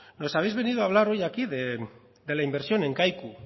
nos habéis venido hoy a hablar hoy aquí de la inversión en kaiku